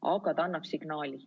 Aga see annab signaali.